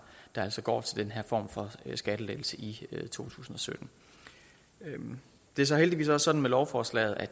altså går til den her form for skattelettelse i to tusind og sytten det er så heldigvis også sådan med lovforslaget at